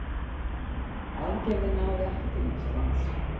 Aðgerðin náði ekki til Íslands.